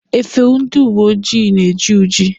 Efe ndị uwe ojii na-eji uji.